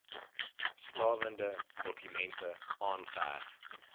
stawende dokumente aangeheg